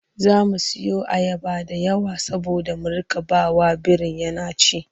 Za mu siyo ayaba da yawa saboda mu riƙa ba wa birin yana ci.